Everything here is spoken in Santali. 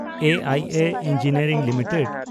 A I A engineering limited